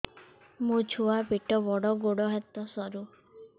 ମୋ ଛୁଆ ପେଟ ବଡ଼ ଗୋଡ଼ ହାତ ସରୁ